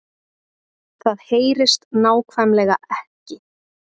Það HEYRIST NÁKVÆMLEGA EKKI